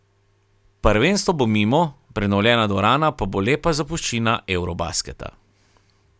Prvenstvo bo mimo, prenovljena dvorana pa bo lepa zapuščina eurobasketa.